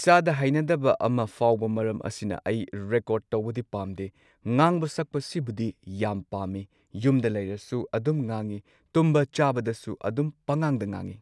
ꯏꯁꯥꯗ ꯍꯩꯅꯗꯕ ꯑꯃ ꯐꯥꯎꯕ ꯃꯔꯝ ꯑꯁꯤꯅ ꯑꯩ ꯔꯦꯀꯣꯔꯗ ꯇꯧꯕꯗꯤ ꯄꯥꯝꯗꯦ, ꯉꯥꯡꯕ ꯁꯛꯄ ꯁꯤꯕꯨꯗꯤ ꯌꯥꯝ ꯄꯥꯝꯃꯤ, ꯌꯨꯝꯗ ꯂꯩꯔꯁꯨ ꯑꯗꯨꯝ ꯉꯥꯡꯉꯤ ꯇꯨꯝꯕ ꯆꯥꯕꯗꯁꯨ ꯑꯗꯨꯝ ꯄꯉꯥꯡꯗ ꯉꯪꯉꯤ꯫